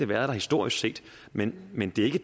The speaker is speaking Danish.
været der historisk set men men det